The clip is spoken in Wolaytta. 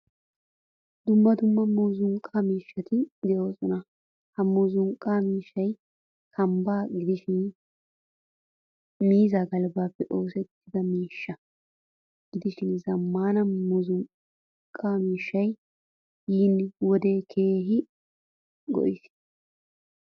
Dumma dumma muuzzuqqa miishshati deosona. Ha muuzzuqqa miishshay kambba gidishin miizzaa galbbappe oosettida miishsha gidishin zamaana muuzzuqqa miishshay yeena wode keehin go'iis.